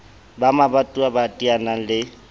ba mabatowa ba teanang le